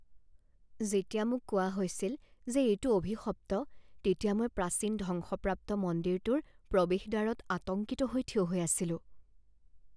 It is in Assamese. যেতিয়া মোক কোৱা হৈছিল যে এইটো অভিশপ্ত তেতিয়া মই প্ৰাচীন ধ্বংসপ্ৰাপ্ত মন্দিৰটোৰ প্ৰৱেশদ্বাৰত আতংকিত হৈ থিয় হৈ আছিলোঁ।